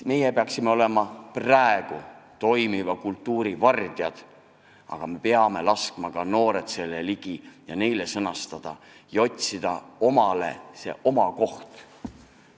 Meie peaksime olema praegu toimiva kultuuri vardjad, aga me peame laskma ka noored ligi ja andma neile võimaluse sõnastada oma mõtted ja otsida omalegi koht.